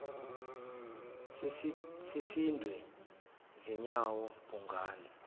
sesisindwe zinyawo bhungane